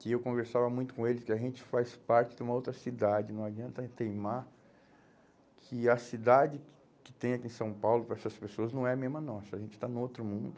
Que eu conversava muito com eles, que a gente faz parte de uma outra cidade, não adianta a gente teimar que a cidade que que tem aqui em São Paulo para essas pessoas não é a mesma nossa, a gente está em outro mundo.